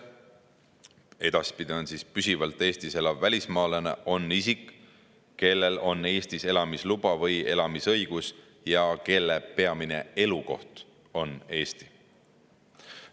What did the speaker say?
Edaspidi on püsivalt Eestis elav välismaalane isik, kellel on Eesti elamisluba või elamisõigus ja kelle peamine elukoht on Eestis.